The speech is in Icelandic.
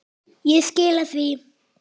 Ég skila því.